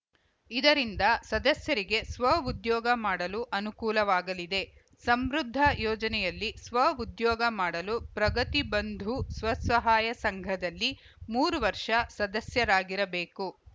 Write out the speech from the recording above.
ಇದರಿಂದ ಸದಸ್ಯರಿಗೆ ಸ್ವಉದ್ಯೋಗ ಮಾಡಲು ಅನುಕೂಲವಾಗಲಿದೆ ಸಮೃದ್ದ ಯೋಜನೆಯಲ್ಲಿ ಸ್ವ ಉದ್ಯೋಗ ಮಾಡಲು ಪ್ರಗತಿಬಂಧು ಸ್ವಸಹಾಯ ಸಂಘದಲ್ಲಿ ಮೂರವರ್ಷ ಸದಸ್ಯರಾಗಿರಬೇಕು